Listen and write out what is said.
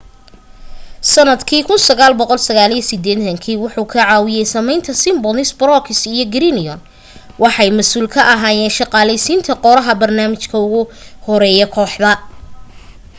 sanadka 1989 wuxuu ka caawiyey sameynta simpsons brooks iyo groening waxay masuul ka ahaayeen shaqaleysiinta qoraha barnaamijka ugu horeya kooxda